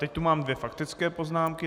Teď tu mám dvě faktické poznámky.